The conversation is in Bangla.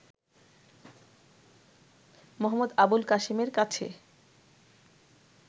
মো. আবুল কাসেমের কাছে